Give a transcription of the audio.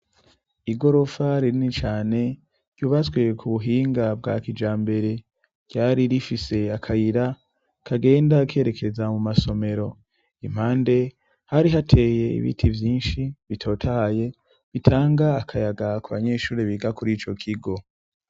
Igorofa rini cane ryubatswi ku buhinga bwa kijambere, ryari rifise akayira kagenda kerekeza mu masomero, impande hari hateye ibiti vyinshi bitotahaye bitanga akayaga ku banyeshuri biga kuri ico kigo.